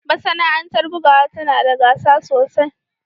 Masana'antar bugawa tana da gasa sosai